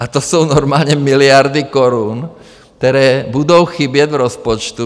A to jsou normálně miliardy korun, které budou chybět v rozpočtu.